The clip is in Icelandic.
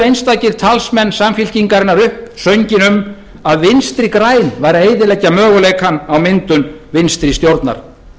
einstakir talsmenn samfylkingarinnar upp sönginn um að vinstri græn væru að eyðileggja möguleikann á myndun vinstri stjórnar